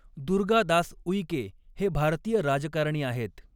दुर्गा दास उइके हे भारतीय राजकारणी आहेत.